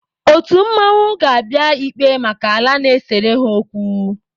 Otu mmanwụ ga-abịa ikpe maka ala na-esere ha okwu.